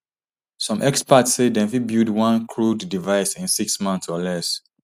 some experts say dem fit build one crude device in six months or less